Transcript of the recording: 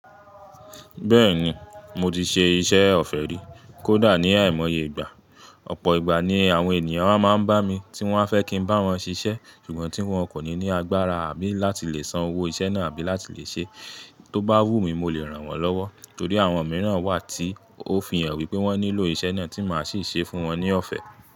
Bẹ́ẹ̀ni, mo ti ṣe iṣẹ́ ọ̀fẹ́ rí, kódà ní àìmọye ìgbà. Ọ̀pọ̀ ìgbà ni àwọn ènìyàn a máa ń bá mi tí wọ́n fẹ́ kí ń bá wọn ṣiṣẹ́, ṣùgbọ́n tí wọ́n kò ní ní agbára àbí láti lè san owó iṣẹ́ náà àbí láti lè ṣe. Tó bá wù mí mo lè ràn wọ́n lọ́wọ́, torí àwọn mìíràn wà tí ó fi hàn wí pé wọ́n nílò iṣẹ́ náà tí máa sì ṣe é fún wọn ní ọ̀fẹ́.